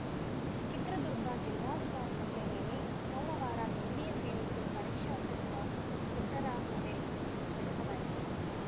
ಚಿತ್ರದುರ್ಗ ಜಿಲ್ಲಾಧಿಕಾರಿ ಕಚೇರಿಯಲ್ಲಿ ಸೋಮವಾರ ದ್ವಿತೀಯ ಪಿಯುಸಿ ಪರೀಕ್ಷಾ ಪೂರ್ವ ಸಿದ್ಧರಾ ಸಭೆ ನಡೆಸಲಾಯಿತು